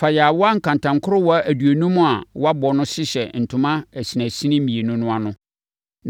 Fa yaawa nkantankorowa aduonum a wɔabɔ no hyehyɛ ntoma asinasini mmienu no ano.